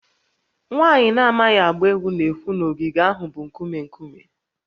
Nwaanyị na-amaghị agba egwu na-ekwu na ogige ahụ bụ nkume nkume